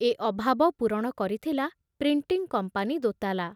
ଏ ଅଭାବ ପୂରଣ କରିଥିଲା ପ୍ରିଣ୍ଟିଂ କମ୍ପାନୀ ଦୋତାଲା।